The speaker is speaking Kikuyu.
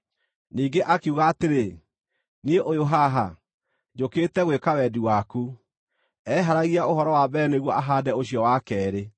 Ningĩ akiuga atĩrĩ, “Niĩ ũyũ haha, njũkĩte gwĩka wendi waku.” Eeheragia ũhoro wa mbere nĩguo ahaande ũcio wa keerĩ.